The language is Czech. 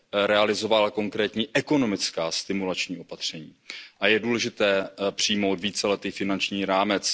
také realizovala konkrétní ekonomická stimulační opatření. A je důležité přijmout víceletý finanční